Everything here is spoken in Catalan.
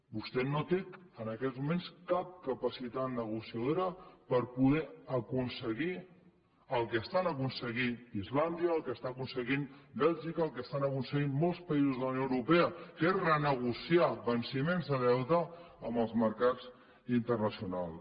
vostè no té en aquests moments cap capacitat negociadora per poder aconseguir el que està aconseguint islàndia el que està aconseguint bèlgica el que estan aconseguint molts països de la unió europea que és renegociar venciments de deute amb els mercats internacionals